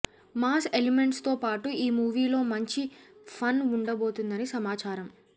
mass elements తో పాటు ఈ మూవీ లో మంచి ఫన్ ఉండబోతుందని సమాచారం